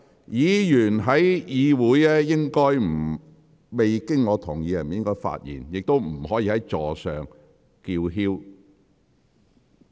議員在會議過程中未經我同意不應發言，也不可以在座位上叫喊。